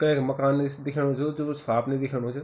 कैक मकान निस दिखेंणू जु साफ नि दिखेणू च।